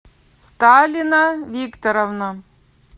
сталина викторовна